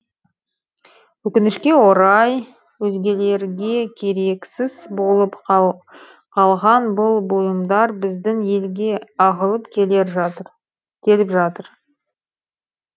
өкінішке орай өзгелерге керексіз болып қалған бұл бұйымдар біздің елге ағылып келіп жатыр